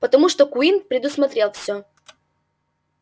потому что куинн предусмотрел всё